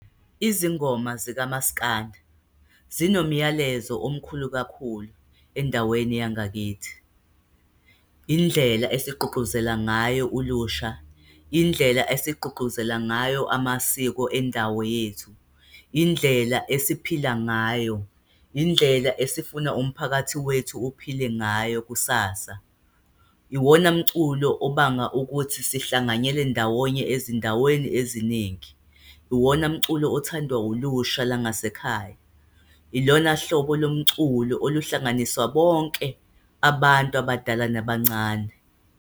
Izingoma zikamaskandi zinomyalezo omkhulu kakhulu endaweni yangakithi. Indlela esigqugquzela ngayo olusha, indlela esigqugquzela ngayo amasiko endawo yethu, indlela esiphila ngayo, indlela esifuna umphakathi wethu uphile ngayo kusasa. Iwona mculo obanga ukuthi sihlanganyele ndawonye ezinaweni eziningi. Iwona mculo othandwa ulusha langasekhaya. Ilona hlobo lomculo oluhlanganisa bonke abantu abadala nabancane.